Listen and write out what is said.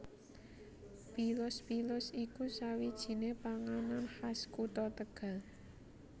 PilusPilus iku sawijinè panganan khas kutha Tegal